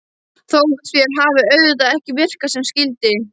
Þótt þær hafi auðvitað ekki virkað sem skyldi.